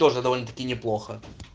тоже довольно таки неплохо